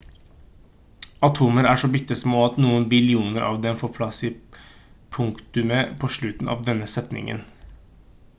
atomer er så bitte små at noen billioner av dem får plass i punktumet på slutten av denne setningen